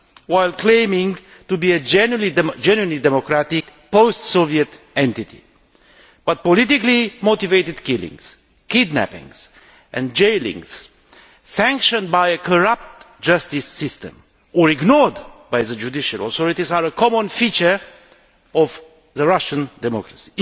while claiming to be a genuinely democratic post Soviet entity. But politically motivated killings, kidnappings and jailings, sanctioned by a corrupt justice system or ignored by the judicial authorities, are a common feature of the Russian democracy.